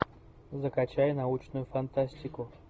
закачай научную фантастику